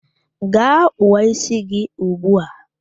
Gaa kpụọ ísí gị ugbu a!